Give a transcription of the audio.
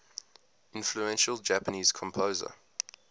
influential japanese composer